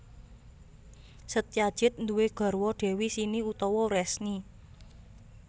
Setyajid nduwé garwa Dewi Sini utawa Wresni